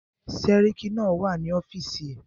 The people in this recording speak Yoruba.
Sẹ́ríkí náà wà ní ọ́fìsì ẹ̀.